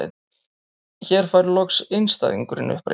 Hér loks fær einstæðingurinn uppreisn.